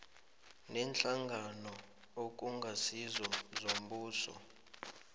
neenhlangano okungasizo zombuso